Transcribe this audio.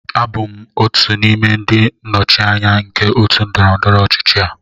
Abụ m otu n'ime ndị nnọchiteanya nke otu ndọrọ ndọrọ ọchịchị a